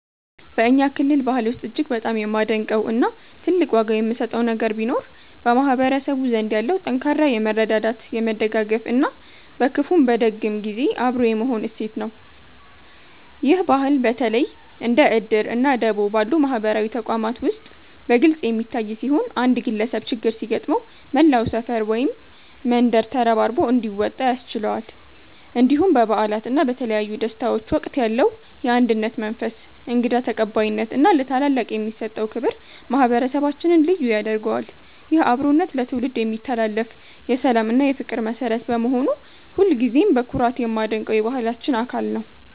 በእኛ ክልል ባህል ውስጥ እጅግ በጣም የማደንቀው እና ትልቅ ዋጋ የምሰጠው ነገር ቢኖር በማህበረሰቡ ዘንድ ያለው ጠንካራ የመረዳዳት፣ የመደጋገፍ እና በክፉም በደግም ጊዜ አብሮ የመሆን እሴት ነው። ይህ ባህል በተለይ እንደ 'እድር' እና 'ደቦ' ባሉ ማህበራዊ ተቋማት ውስጥ በግልጽ የሚታይ ሲሆን፣ አንድ ግለሰብ ችግር ሲገጥመው መላው ሰፈር ወይም መንደር ተረባርቦ እንዲወጣ ያስችለዋል። እንዲሁም በበዓላት እና በተለያዩ ደስታዎች ወቅት ያለው የአንድነት መንፈስ፣ እንግዳ ተቀባይነት እና ለታላላቅ የሚሰጠው ክብር ማህበረሰባችንን ልዩ ያደርገዋል። ይህ አብሮነት ለትውልድ የሚተላለፍ የሰላም እና የፍቅር መሠረት በመሆኑ ሁልጊዜም በኩራት የማደንቀው የባህላችን አካል ነው።